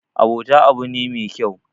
abota abu ne me kyau